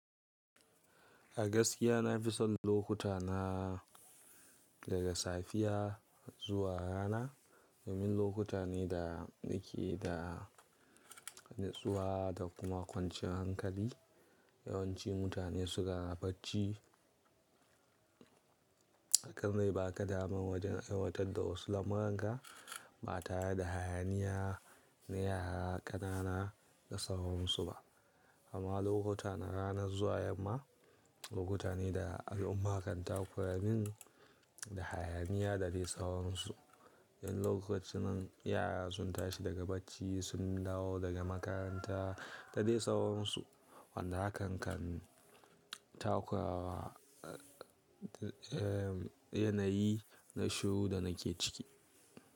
A gaskiya na fi son lokuta na daga safiya zuwa rana. Domin lokuta ne da nake da natsuwa da kuma kwanciyan hankali. Yawanci mutane suna bacci. Hakan zai ba ka damar wajen aiwatar da wasu lamuran ka, ba tare da hayaniya na yara ƙanana da sauran su ba. Amma lokutan ranar zuwa yamma, lokuta ne da al'umma kan takura min da hayaniya da dai sauran su Dan lokacin nan yara sun tashi daga bacci sun dawo daga makaranta da dai sauran su wanda hakan kan takura wa, eh yana yi na shiru da nake ciki.